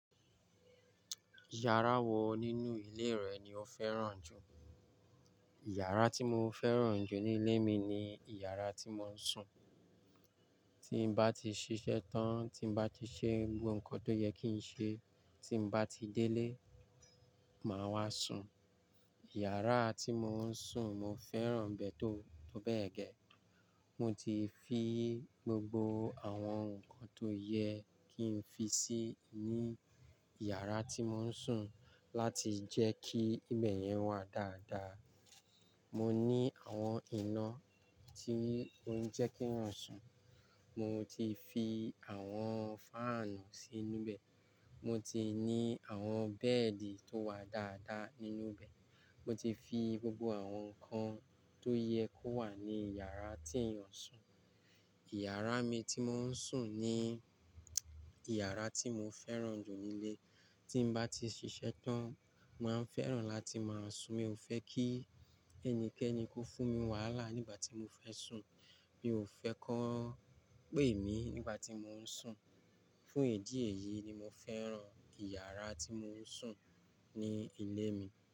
Yàrá wọ nínú ilé rẹ̀ ni ó fẹ́ràn jù. Ìyàrá tí mo fẹ́ràn jù ní ilé mi ni ìyàrá tí mo ń sùn. Tí n bá ti ṣiṣẹ́ tán, tí n bá ti ṣe gbogbo nǹkan tó yẹ kí n ṣe, tí n bá ti délé, màá wá sùn. Ìyàrá tí mo ń sùn mo fẹ́ràn bẹ́ẹ̀ tó, tó bẹ́ẹ̀ gẹ. Mo ti fi gbogbo àwọn nǹkan tó yẹ kí n fi sí ní ìyàrá tí mo ń sùn láti jẹ́ kí ibẹ̀ yẹn wà dáadáa. Mo ní àwọn iná tí ó ń jẹ́ keeyan sùn. Mo ti fi àwọn fáànù sínú bẹ̀. Mo ti ní àwọn bẹ́ẹ̀dì tó wà dáadáa nínú bẹ̀. Mo ti fi gbogbo àwọn nǹkan tó yẹ kó wà ní ìyàrá tí ẹ̀eyan ń sùn. Ìyàrá mi tí mo ń sùn ní ìyàrá tí mo fẹ́ràn jù nílé. Tí n bá ti ṣiṣẹ́ tán, mo màá n fẹ́ràn láti máa sùn. Mi ò fẹ́ kí ẹnikẹ́ni kó fún mi wàhálà nígbà tí mo fẹ́ sùn. Mi ò fẹ́ kó ń pè mí nígbà tí mo ń sùn. Fún idí èyìí ni mo fẹ́ràn ìyàrá tí mo ń sùn ní ilé mi.